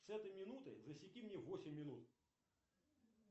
с этой минуты засеки мне восемь минут